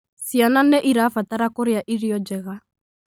Ciana nĩ irabatara kũrĩa irio njega.